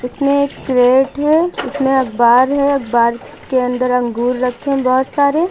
इसमें एक प्लेट है। इसमें अखबार है। अखबार के अंदर अंगूर रखें है बहुत सारे।